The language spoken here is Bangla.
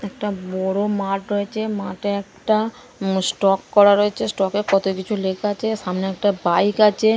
একটা বড়ো মাঠ রয়েছে মাঠে একটা ম স্টক করা রয়েছে স্টক -এ কত কিছু লেখা আছে সামনে একটা বাইক আছে।